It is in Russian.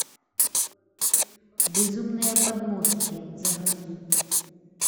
безумные подмостки загрузи